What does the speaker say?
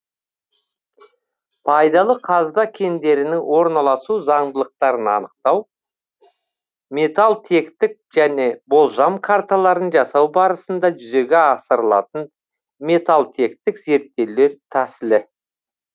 пайдалы қазба кендерінің орналасу заңдылықтарын анықтау металтектік және болжам карталарын жасау барысында жүзеге асырылатын металтектік зерттеулер тәсілі